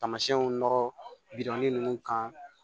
Tamasiyɛnw nɔrɔ birin ninnu kan